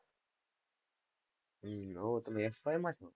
હમ ઓહો, તમે s. y માં છો?